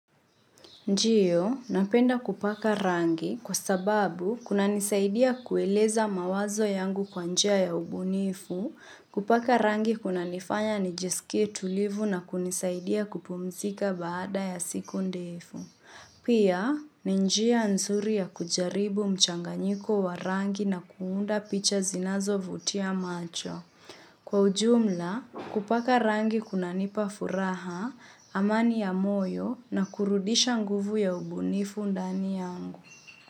Ndio, napenda kupaka rangi kwa sababu kunanisaidia kueleza mawazo yangu kwa njia ya ubunifu, kupaka rangi kunanifanya nijiskie tulivu na kunisaidia kupumzika baada ya siku ndefu. Pia, ni njia nzuri ya kujaribu mchanganyiko wa rangi na kuunda picha zinazo vutia macho. Kwa ujumla, kupaka rangi kunanipa furaha, amani ya moyo na kurudisha nguvu ya ubunifu ndani yangu.